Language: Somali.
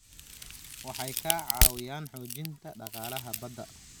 Waxay ka caawiyaan xoojinta dhaqaalaha badda.